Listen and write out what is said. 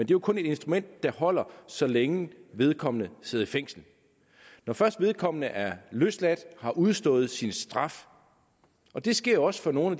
jo kun et instrument der holder så længe vedkommende sidder i fængsel når først vedkommende er løsladt og har udstået sin straf det sker jo også for nogle